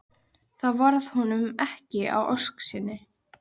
þá varð honum ekki að ósk sinni.